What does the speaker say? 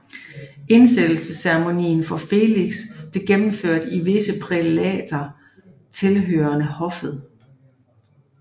Indsættelsesceremonien for Felix blev gennemført af visse prælater tilhørende hoffet